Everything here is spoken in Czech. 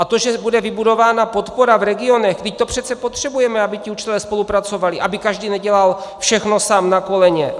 A to, že bude vybudována podpora v regionech - vždyť to přece potřebujeme, aby ti učitelé spolupracovali, aby každý nedělal všechno sám na koleně.